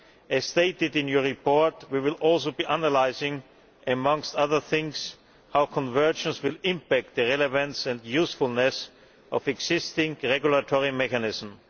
As stated in your report, we will also be analysing, amongst other things, how convergence will impact the relevance and usefulness of the existing regulatory mechanism.